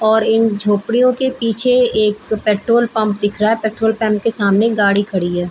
और इन झोपड़ियों के पीछे एक पेट्रोल पंप दिख रहा है पेट्रोल पंप के सामने गाड़ी खड़ी है |